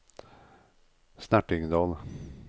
Snertingdal